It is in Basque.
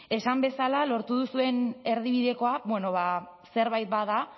esan bezala lortu duzuen erdibidekoa zerbait bada